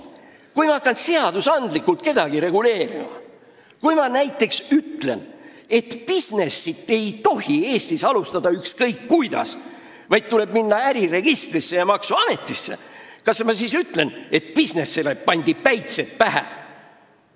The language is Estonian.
Kui ma hakkan kellegi tegevust seadustega reguleerima, ütlen näiteks, et bisnist ei tohi Eestis alustada ükskõik kuidas, vaid tuleb minna äriregistrisse ja maksuametisse, kas ma siis panen bisnisele päitsed pähe?